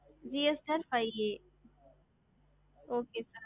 ஹம்